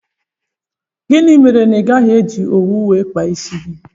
Gịnị mere na igaghi eji owu wee kpaa isi gị?